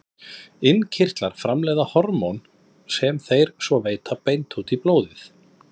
Innkirtlar framleiða hormón sem þeir svo veita beint út í blóðið.